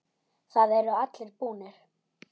Þeir eru allir búnir.